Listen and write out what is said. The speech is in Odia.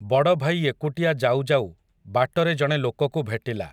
ବଡ଼ଭାଇ ଏକୁଟିଆ ଯାଉ ଯାଉ, ବାଟରେ ଜଣେ ଲୋକକୁ ଭେଟିଲା ।